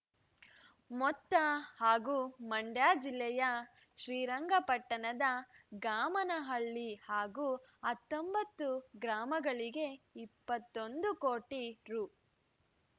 ಮೊತ್ತ ಹಾಗೂ ಮಂಡ್ಯ ಜಿಲ್ಲೆಯ ಶ್ರೀರಂಗ ಪಟ್ಟಣದ ಗಾಮನಹಳ್ಳಿ ಹಾಗೂ ಹತ್ತೊಂಬತ್ತು ಗ್ರಾಮಗಳಿಗೆ ಇಪ್ಪತ್ತೊಂದು ಕೋಟಿ ರು